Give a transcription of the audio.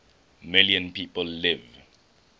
million people live